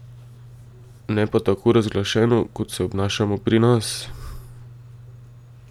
Ne pa tako razglašeno, kot se obnašamo pri nas.